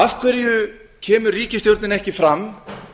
af hverju kemur ríkisstjórnin ekki fram